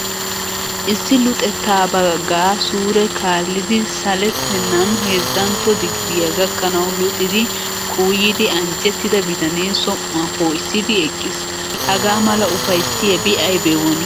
Issi luxettaa baagaa suure kaallidi salettennan heezzantto digiriya gakkanawu luxidi kuuyidi anjjettida bitanee som"uwa poo'issidi eqqiis. Haga mala ufayssiyabi aybee woni!